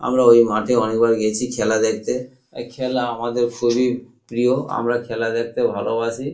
আমরা ওই মাঠে অনেকবার গিয়েছি খেলা দেখতে। খেলা আমাদের খুবই প্রিয় আমরা খেলা দেখতে ভালবাসি।